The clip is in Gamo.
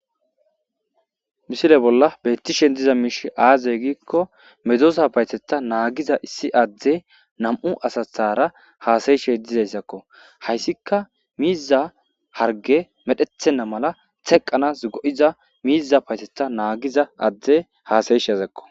Mishile bolla beyttishen diza miish aazey giikko medosa payteta naagiza issi adde nam'u asathara haasayishey dizayssakko hayssika miiza harge medhethenna mala teqqanas go'iza miiza payteta naagiza adde haasayish azakko